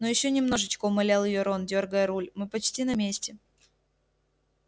ну ещё немножечко умолял её рон дёргая руль мы почти на месте